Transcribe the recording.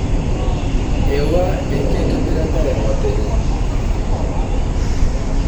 Ewa enkitobirata eng'otonye.